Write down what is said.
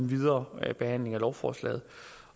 videre behandling af lovforslaget